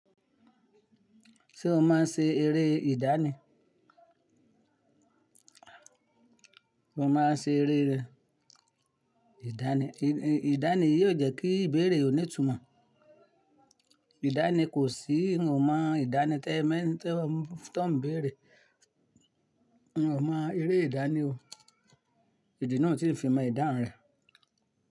Ṣé o máa ń ṣe eré ìdánì? Mo máa ń ṣe eré rẹ. Ìdánì yi o jẹ́ kí ìbéèrè ó ní ìtumọ̀. Ìdánì kò sí, n ò mọ ìdánì tí ẹ ń tẹ́ ọ, tó ń béèrè. N ò mọ eré ìdánì o. Èdè náà ti ń fi mọ̀ ìdáhun rẹ̀